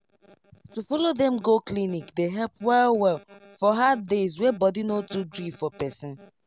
to follow dem go clinic dey help well well for hard days wey body no too gree for person.